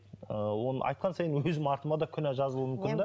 ы айтқан сайын өзім артыма да күнә жазылуы мүмкін де